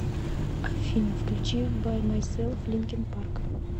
афина включи бай майселф линкин парк